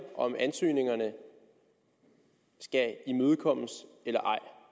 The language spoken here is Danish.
om ansøgningerne skal imødekommes eller